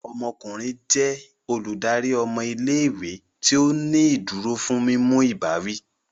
Olórí awon ọmọkùnrin jẹ Olùdarí ọmọ ilé-ìwé tí o ní ìdúró fún mímú ìbáwí